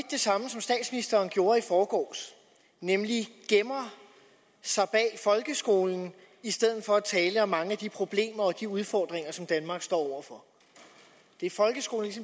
det samme som statsministeren gjorde i forgårs nemlig gemmer sig bag folkeskolen i stedet for at tale om mange af de problemer og udfordringer som danmark står over for det er folkeskolen